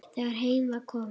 Þegar heim var komið.